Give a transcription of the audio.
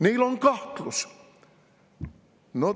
Neil on kahtlus!?